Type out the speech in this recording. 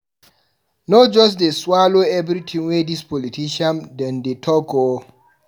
No just dey swallow everytin wey dis politician dem dey talk o.